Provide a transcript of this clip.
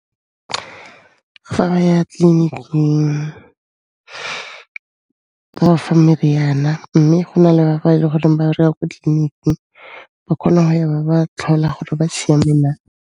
Fa ba ya tleliniking ba ba fa meriana, mme go na le ba ba e le goreng ba re ya kwa tleliniking, ba kgona ho ya ba ba tlhola gore ba siame na.